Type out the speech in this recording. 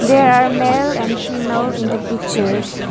there are male and female in the pictures.